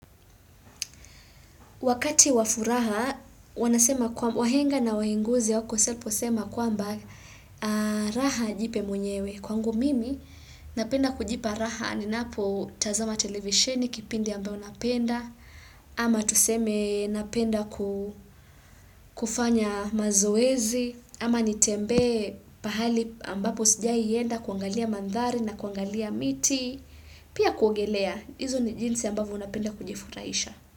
Wakati wa furaha, wahenga na waenguzi hawakukosea waliposema kwamba raha jipe mwenyewe. Kwangu mimi napenda kujipa raha, ninapotazama televisheni kipindi ambayo napenda, ama tuseme napenda kufanya mazoezi, ama nitembee pahali ambapo sijaienda, kuangalia mandhari na kuangalia miti, pia kuongelea. Hizo ni jinsi ambavyo unapenda kujifuraisha.